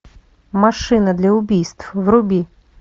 машина для убийств вруби